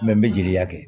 Mɛ n bɛ jeli ta kɛ